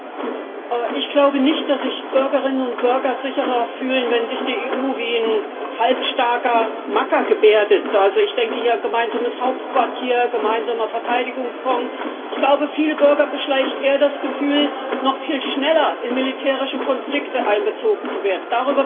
Herr Präsident! Zwei Bemerkungen Ich glaube nicht, dass sich Bürgerinnen und Bürger sicherer fühlen, wenn sich die EU wie ein halbstarker Macker gebärdet. Also ich denke hier gemeinsames Hauptquartier, gemeinsamer Verteidigungsfonds. Ich glaube, viele Bürger beschleicht eher das Gefühl, noch viel schneller in militärische Konflikte einbezogen zu werden.